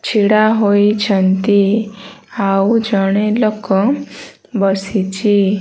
ଛିଡ଼ା ହୋଇଛନ୍ତି। ଆଉ ଜଣେ ଲୋକ ବସିଛି।